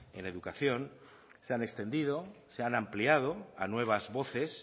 en educación se han extendido se han ampliado a nuevas voces